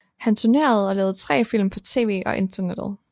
Han turnerede og lavede tre film på tv og internettet